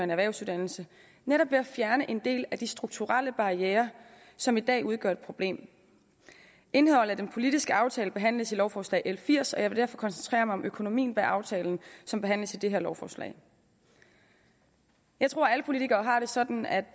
en erhvervsuddannelse netop ved at fjerne en del af de strukturelle barrierer som i dag udgør et problem indholdet af den politiske aftale behandles i lovforslag l firs og jeg vil derfor koncentrere mig om økonomien bag aftalen som behandles i det her lovforslag jeg tror at alle politikere har det sådan at